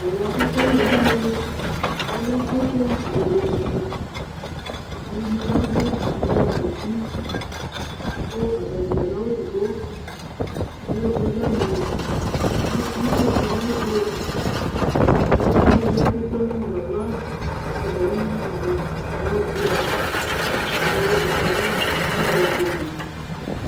Tu aluwa kekele une, kʋ atɛ utu obebe dini Ɛdɩnɩ yavʋ, ɛdɩnɩ ezikuti, kʋ atani dza adu awu edigbo Alɛ sɔdza ni nʋ itodi ayʋ ɛtʋ Edigbo ya nʋ ili kʋ ekple aɣla ɣafa ava Ɛdɩni "ayʋtuzi" ɔsʋia, kʋ ɛdɩnɩ azɛ akponi